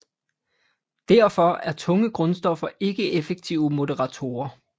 Derfor er tunge grundstoffer ikke effektive moderatorer